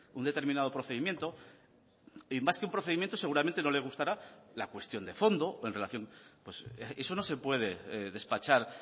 un determinado procedimiento y más que un procedimiento seguramente no le gustará la cuestión de fondo o en relación pues eso no se puede despachar